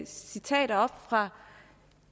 citater fra